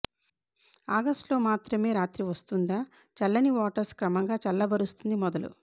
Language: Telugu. ఆగస్టులో మాత్రమే రాత్రి వస్తుందా చల్లని వాటర్స్ క్రమంగా చల్లబరుస్తుంది మొదలు